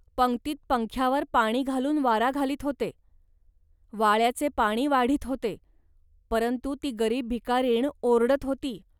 पंक्तीत पंख्यावर पाणी घालून वारा घालीत होते. वाळ्याचे पाणी वाढीत होते, परंतु ती गरीब भिकारीण ओरडत होती